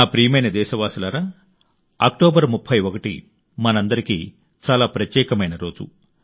నా ప్రియమైన దేశవాసులారా అక్టోబర్ 31 మనందరికీ చాలా ప్రత్యేకమైన రోజు